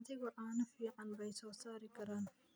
Adhigu caano fiican bay soo saari karaan.